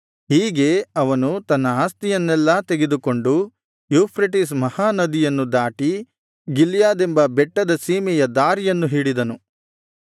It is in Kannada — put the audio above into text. ಹೀಗೆ ಅವನು ತನ್ನ ಆಸ್ತಿಯನ್ನೆಲ್ಲಾ ತೆಗೆದುಕೊಂಡು ಯೂಫ್ರೆಟಿಸ್ ಮಹಾ ನದಿಯನ್ನು ದಾಟಿ ಗಿಲ್ಯಾದೆಂಬ ಬೆಟ್ಟದ ಸೀಮೆಯ ದಾರಿಯನ್ನು ಹಿಡಿದನು